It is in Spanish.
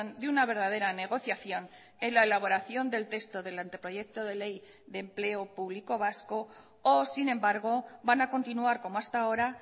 de una verdadera negociación en la elaboración del texto del anteproyecto de ley de empleo público vasco o sin embargo van a continuar como hasta ahora